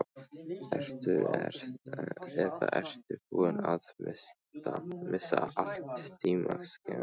Eða ertu búinn að missa allt tímaskyn?